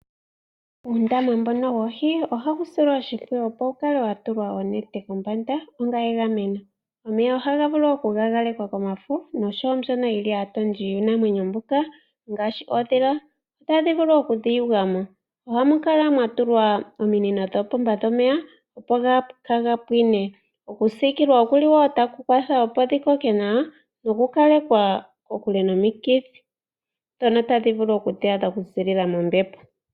Uundama woohi ohawu silwa oshimpwiyu opo wukale watulwa onete kombanda onga megameno. Omeya ohaga vulu gagakekwa komafo noshowoo mbyono yili aatondi yuunamwenyo mbuka ngaashi oondhila ndhoka tadhi vulu okudhiyugamo. Ohamu kala mwatulwa ominino dhoopomba dhomeya opo kaaga pwine. Okusikilwa okuli woo taku kwatha opo dhikoke nawa nokukalekwa kokule nomikithi ndhono tadhi vulu okudhi adha okuzilila mombepo.